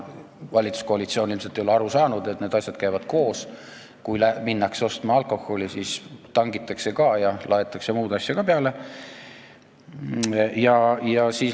Valitsuskoalitsioon ei ole ilmselt aru saanud, et need asjad käivad koos, kui minnakse ostma alkoholi, siis tangitakse ja laetakse muud asja ka autosse.